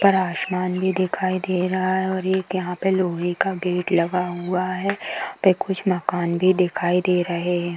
ऊपर आसमान भी दिखाई दे रहा है और एक यहाँ पे लोहे का गेट लगा हुआ है और कुछ मकान भी दिखाई दे रहे हैं।